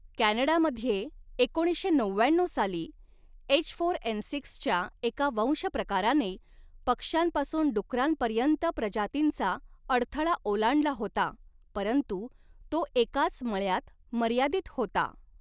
कॅनडामध्ये एकोणीसशे नवव्याण्णऊ साली, एचफोरएनसिक्स च्या एका वंशप्रकाराने पक्ष्यांपासून डुकरांपर्यंत प्रजातींचा अडथळा ओलांडला होता परंतु तो एकाच मळ्यात मर्यादित होता.